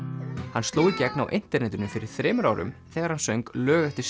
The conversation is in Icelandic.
hann sló í gegn á internetinu fyrir þremur árum þegar hann söng lög eftir